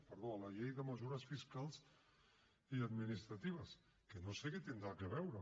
perdó a la llei de mesures fiscals i administratives que no sé què hi tindrà a veure